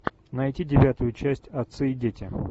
найти девятую часть отцы и дети